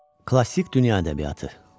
Klassik Dünya Ədəbiyyatı.